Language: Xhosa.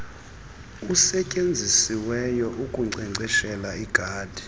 usetyenzisiweyo ukunkcenkceshela igadi